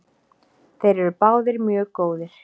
Þeir eru báðir mjög góðir.